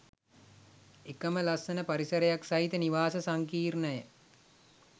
එකම ලස්සන පරිසරයක් සහිත නිවාස සංකීර්ණය